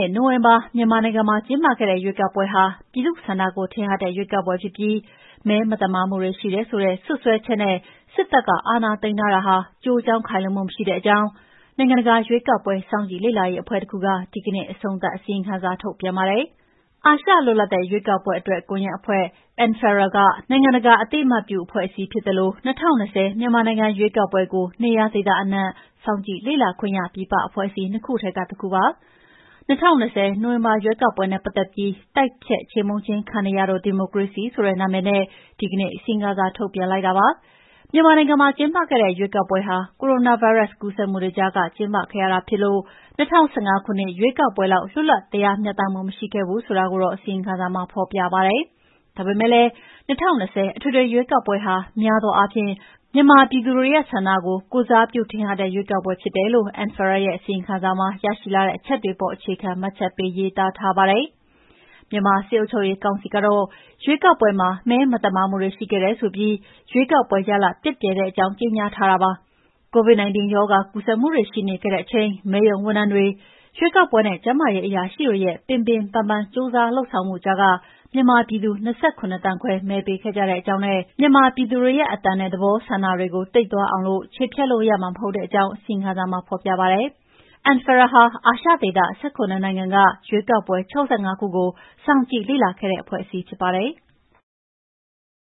ဲ့နှစ် နိုဝင်ဘာ မြန်မာနိုင်ငံမှာ ကျင်းပခဲ့တဲ့ ရွေးကောက်ပွဲဟာ ပြည်သူ့ဆန္ဒကို ထင်ဟတ်တဲ့ ရွေးကောက်ပွဲဖြစ်ပြီး မဲမသမာမှုတွေ ရှိတယ်ဆိုတဲ့ စွပ်စွဲချက်နဲ့ စစ်တပ်က အာဏာသိမ်းတာဟာ ကျိုးကြောင်းခိုင်လုံမှု မရှိတဲ့အကြောင်း နိုင်ငံတကာ ရွေးကောက်ပွဲ စောင့်ကြည့်လေ့လာရေး အဖွဲ့တခုက ဒီနေ့ အဆုံးသတ် အစီရင်ခံစာ ထုတ်ပြန်ပါတယ်။ အာရှ လွတ်လပ်တဲ့ ရွေးကောက်ပွဲအတွက် ကွန်ယက်အဖွဲ့ ANFREL ဟာ နိုင်ငံတကာအသိအမှတ်ပြု ခံအဖွဲ့အစည်း ဖြစ်သလို ၂၀၂၀ မြန်မာနိုင်ငံရွေးကောက်ပွဲကို နေရာဒေသအနှံ့ စောင့်ကြည့်လေ့လာခွင့်ရ ပြည်ပ အဖွဲ့အစည်း ၂ ခုထဲက တခုဖြစ်ပါတယ်။ ၂၀၂၀ နိုဝင်ဘာ ရွေးကောက်ပွဲနဲ့ ပတ်သက်ပြီး တိုက်ဖျက်ချေမှုန်းခြင်း ခံနေရသော ဒီမိုကရေစီ ဆိုတဲ့ နာမည်နဲ့ ဒီနေ့ အစီရင်ခံစာ ထုတ်ပြန်တာပါ။ မြန်မာနိုင်ငံမှာ ကျင်းပခဲ့တဲ့ ရွေးကောက်ပွဲဟာ ကိုရိုနာဗိုင်းရပ်စ် ကူးစက်မှုတွေကြား ကျင်းပခဲ့ရတာဖြစ်လို့ ၂၀၁၅ ခုနှစ် ရွေးကောက်ပွဲလောက် လွတ်လပ်တရားမျှတမှု မရှိခဲ့ဘူးဆိုတာ အစီရင်ခံစာမှာ ဖေါ်ပြပါတယ်။ ဒါပေမဲ့လည်း ၂၀၂၀ အထွေထွေရွေးကောက်ပွဲဟာ များသောအားဖြင့် မြန်မာပြည်သူတွေရဲ့ ဆန္ဒကို ကိုယ်စားပြုတဲ့ ထင်ဟတ်တဲ့ ရွေးကောက်ပွဲဖြစ်တယ်လို့ ANFREL ရဲ့ အစီရင်ခံစာမှာ ရှရှိလာတဲ့ အချက်အလက်တွေအပေါ် အခြေခံ မှတ်ချက်ပေးရေးသားထားပါတယ်။ မြန်မာစစ်အုပ်ချုပ်ရေးကောင်စီကတော့ ရွေးကောက်ပွဲမှာ မဲမသမာမှုတွေ ရှိခဲ့တယ်ဆိုပြီး ရွေးကောက်ပွဲရလဒ် ပျက်ပျယ်တဲ့အကြောင်း ကြေညာထားတာပါ။ COVID-19 ရောဂါ ကူးစက်မှုတွေ ရှိနေခဲ့တဲ့အချိန် မဲရုံ ဝန်ထမ်းတွေ၊ ရွေးကောက်ပွဲနဲ့ ကျန်းမာရေးအရာရှိတွေရဲ့ ပင်ပင်ပန်းပန်း ကြိုးစားလုပ်ဆောင်ပေးမှုကြားမှာ မြန်မာပြည်သူ ၂၇ သန်းခွဲ မဲပေးခဲ့ကြတဲ့အကြောင်းနဲ့ မြန်မာပြည်သူတွေရဲ့ အသံ၊ သဘောထားဆန္ဒကို တိပ်သွားအောင် ချေဖျက်လို့ ရမှမဟုတ်တဲ့အကြောင်း အစီရင်ခံစာမှာဖေါ်ပြပါတယ်။ ANFREL ဟာ အာရှဒေသ ၁၇ နိုင်ငံက ရွေးကောက်ပွဲ ၆၅ ခုကို စောင့်ကြည့်လေ့လာခဲ့တဲ့ အဖွဲ့အစည်းဖြစ်ပါတယ်။